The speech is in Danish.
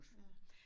Ja